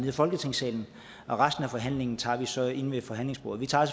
i folketingssalen resten af forhandling tager vi så inde ved forhandlingsbordet vi tager